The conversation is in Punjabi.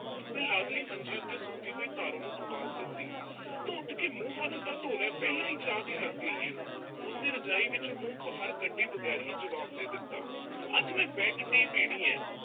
ਮੈਂ ਲਾਗਲੇ ਮੰਜੇ ਤੇ ਸੁੱਤੀ ਪਈ, ਪਾਰੋ ਨੂੰ ਆਵਾਜ਼ ਦਿੱਤੀ, ਤੂੰ ਉਠ ਕੇ ਮੂੰਹ-ਹੱਥ ਤਾਂ ਧੋ ਲੈ, ਪਹਿਲਾਂ ਹੀ ਚਾਹ ਤੇ ਲੱਗ ਗਈ ਏਂ। ਉਸਨੇ ਰਜਾਈ ਵਿੱਚੋਂ ਮੂੰਹ ਬਾਹਰ ਕੱਢੇ ਬਗੈਰ ਹੀ ਜਵਾਬ ਦੇ ਦਿੱਤਾ, ਅੱਜ ਮੈਂ bed tea ਪੀਣੀ ਐ।